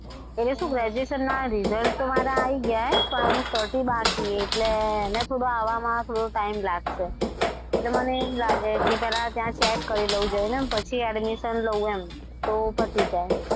એટલે શું graduation ના result તો મારા આવી ગયા પણ એનું certify બાકી એટલે એને થોડું આવવામાં થોડો time લાગશે. એટલે મને એમ લાગે કે પહેલા ત્યાં check કરી લો જઈને પછી admission લવ એમ તો પતી જાય.